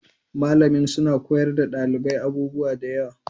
Malamin suna koyar da ɗalibai abubuwa da yawa